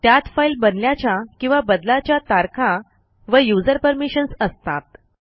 त्यात फाईल बनल्याच्या किंवा बदलाच्या तारखा व यूझर परमिशन्स असतात